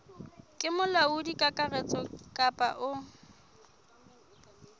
ke molaodi kakaretso kapa o